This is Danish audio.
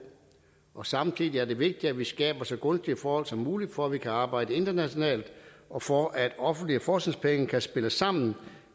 og samtidig er det vigtigt at vi skaber så gunstige forhold som muligt for at vi kan arbejde internationalt og for at offentlige forskningspenge kan spille sammen